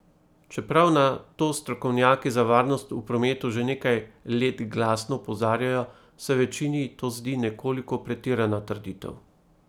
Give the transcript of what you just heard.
Čeprav na to strokovnjaki za varnost v prometu že nekaj let glasno opozarjajo, se večini to zdi nekoliko pretirana trditev.